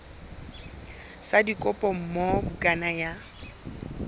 sa dikopo moo bukana ya